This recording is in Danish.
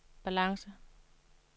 balance